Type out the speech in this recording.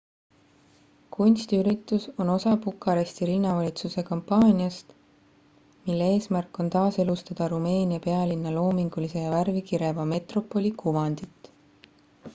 kunstiüritus on osa bukaresti linnavalitsuse kampaaniast mille eesmärk on taaselustada rumeenia pealinna loomingulise ja värvikireva metropoli kuvandit